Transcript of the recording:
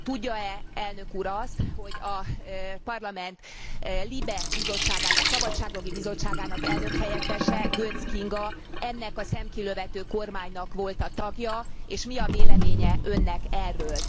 Tudja e Elnök Úr azt, hogy a Parlament LIBE bizottságának, Szabadságjogi Bizottságának elnökhelyettese, Göncz Kinga, ennek a szemkilövető kormánynak volt a tagja, és mi a véleménye Önnek erről?